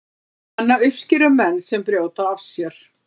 hana uppskera menn sem brjóta af sér